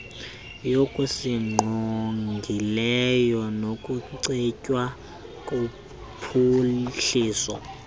yokusingqongileyo nokucetywa kophuhliso